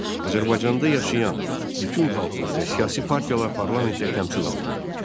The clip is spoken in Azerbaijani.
Azərbaycanda yaşayan bütün xalqlar və siyasi partiyalar parlamentdə təmsil olunurdu.